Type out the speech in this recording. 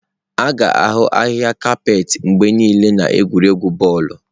A ga-ahụ ahịhịa kapeeti mgbe niile n'egwuregwu bọọlụ.